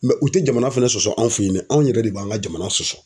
u tɛ jamana fɛnɛ sɔsɔ anw fɛ yen dɛ ,anw yɛrɛ de b'an ka jamana sɔsɔ.